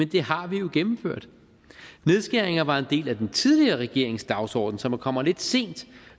det har vi jo gennemført nedskæringer var en del af den tidligere regerings dagsordenen så man kommer lidt sent